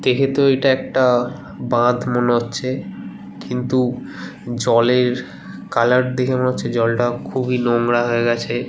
দেখে তো এটা একটা বাঁধ মনে হচ্ছে। কিন্তু জলের কালার দেখে মনে হচ্ছে জলটা খুবই নোংরা হয়ে গেছে।